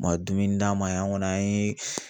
U ma dumuni d'an ma an kɔni an ye